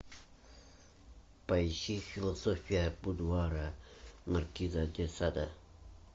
поищи философия будуара маркиза де сада